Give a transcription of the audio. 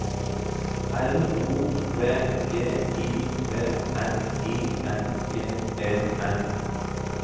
L O V G I V N I N G E N